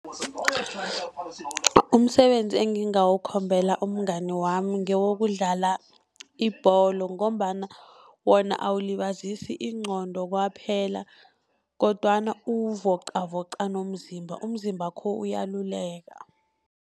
Umsebenzi engingawukhombela umngani wami ngewokudlala ibholo, ngombana wona awulibazisi ingqondo kwaphela kodwana uvocavoca nomzimba, umzimbakho uyaluleka.